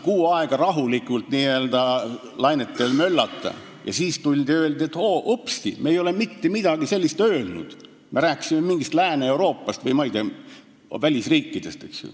Kuu aega lasti rahulikult n-ö lainetel möllata ja siis tuldi öeldi, et upsti, me ei ole mitte midagi sellist öelnud, me rääkisime Lääne-Euroopast või välisriikidest.